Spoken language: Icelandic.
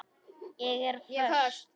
Ég er föst.